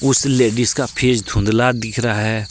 उस लेडिस का फेस धुंधला दिख रहा है।